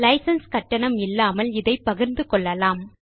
licence கட்டணம் இல்லாமல் இதை பகிர்ந்து கொள்ளலாம்